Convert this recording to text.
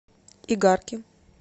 игарки